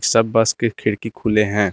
सब बस के खिड़की खुले हैं।